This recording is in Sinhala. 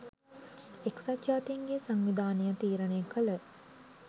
එක්සත් ජාතීන්ගේ සංවිධානය තීරණය කළ